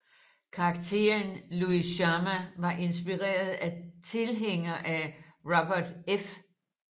Karakteren Luis Chama var inspireret af en tilhænger af Robert F